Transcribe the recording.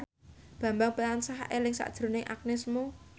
Bambang tansah eling sakjroning Agnes Mo